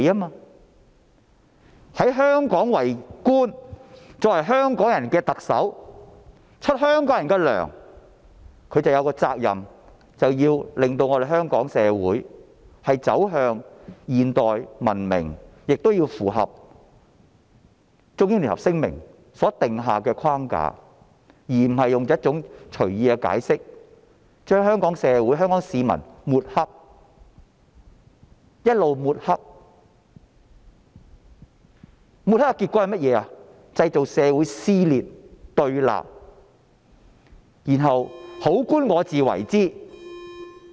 她在香港為官，作為香港人的特首，由香港人向她發薪，她便有責任令香港社會走向現代和文明，並須符合《中英聯合聲明》所訂下的框架，而不是隨意解釋，將香港社會和香港市民抹黑，結果製造社會撕裂和對立，然後好官我自為之。